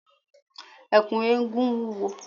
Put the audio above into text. Ẹ̀kú eégún wúwo.